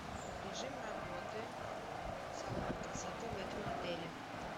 режим работы салона красоты в этом отеле